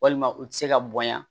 Walima u tɛ se ka bonya